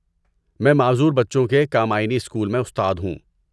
میں معذور بچوں کے کامائنی اسکول میں استاد ہوں۔